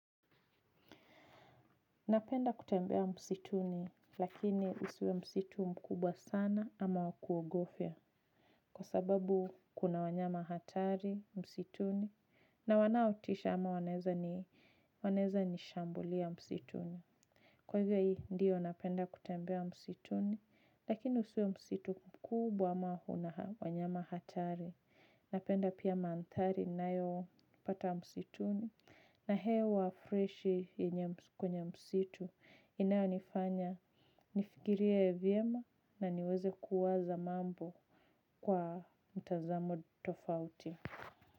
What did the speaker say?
Napenda kutembea msituni lakini usiwe msitu mkubwa sana ama wakuogofia kwa sababu kuna wanyama hatari msituni na wanaotisha ama wanaeza nishambulia msituni. Kwa hivyo hii ndiyo napenda kutembea msituni lakini usiwe msitu mkubwa ama una wanyama hatari. Napenda pia mandhari ninayo pata msituni. Na hewa freshi kwenye msitu. Inayonifanya nifikirie vyema na niweze kuwaza mambo kwa mtazamo tofauti.